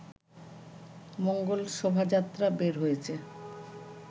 মঙ্গল শোভাযাত্রা বের হয়েছে